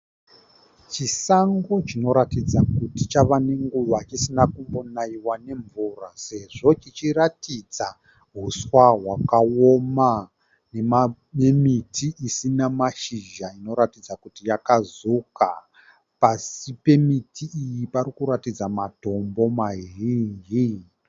Chisango chinoratidza kuti cháva nenguvai chisina kumbonaiwa nemvura sezvo chichiratidza huswa hwakaoma. Nemiti isina mashizha inoratidza kuti yakazuka. Pasi pemiti iyi parikuratidza matombo mazhinji.